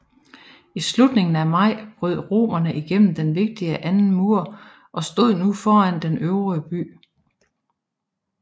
I slutningen af maj brød romerne gennem den vigtige anden mur og stod nu foran den øvre by